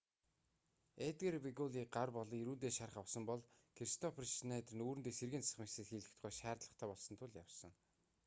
эдгар вегуйлла гар болон эрүүндээ шарх авсан бол кристоффер шнайдер нүүрэндээ сэргээн засах мэс засал хийлгэх шаардлагатай болсон тул явсан